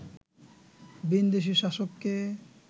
ভিনদেশি শাসককে